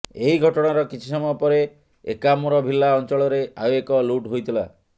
ଏହି ଘଟଣାର କିଛି ସମୟ ପରେ ଏକାମ୍ରଭିଲ୍ଲା ଅଞ୍ଚଳରେ ଆଉ ଏକ ଲୁଟ୍ ହୋଇଥିଲା